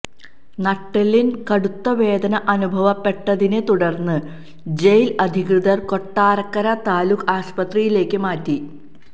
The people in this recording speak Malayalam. നട്ടെല്ലിന് കടുത്തവേദന അനുഭവപ്പെട്ടതിനെ തുടര്ന്ന് ജയില് അധികൃതര് കൊട്ടാരക്കര താലൂക്ക് ആശുപത്രിയിലേക്ക് മാറ്റി